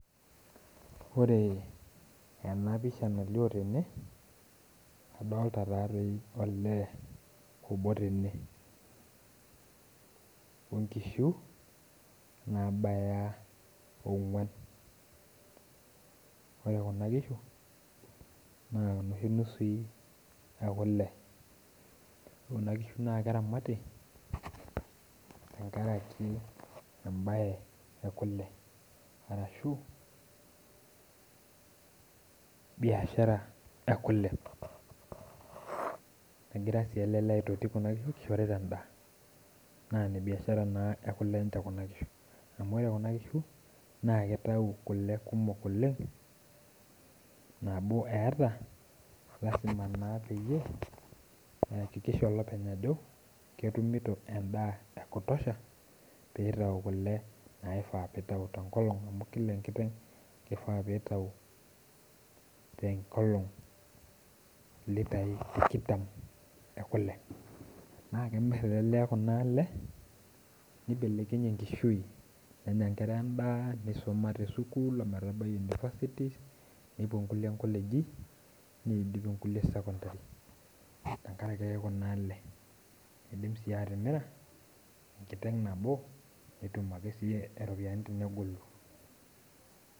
Ore enapisha nalio tene, adolta tati olee obo tene. Onkishu nabaya ong'uan. Ore kuna kishu, na noshi nusui ekule. Ore kuna kishu naa keramati, tenkaraki ebae ekule. Arashu, biashara ekule. Negira si ele lee aitoti kuna kishu kishorita endaa. Na nebiashara naa ekule nche kuna kishu. Amu ore kuna kishu, kitau kule kumok oleng, nabo eeta lasima naa peyie eakikisha olopeny ajo, ketumito endaa ekutosha, pitau kule naifaa pitau tenkolong amu kila enkiteng kifaa pitau tenkolong ilitai tikitam ekule. Na kemir ele lee kuna ale, nibelekenyie enkishui, nenya nkera endaa, nisuma tesukuul ometabai Universities, nepuo nkulie nkoleji, nidip inkulie secondary. Tenkaraki ake kuna ale. Idim si atimira, enkiteng nabo petum ake si iropiyiani tenegolu.